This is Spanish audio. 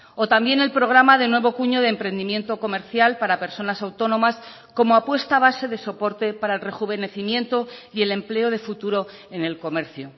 o también el programa de nuevo cuño de emprendimiento comercial para personas autónomas como apuesta base de soporte para el rejuvenecimiento y el empleo de futuro en el comercio